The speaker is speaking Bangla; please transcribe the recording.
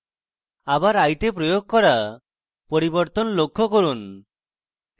আবার eye তে প্রয়োগ করা পরিবর্তন লক্ষ্য করুন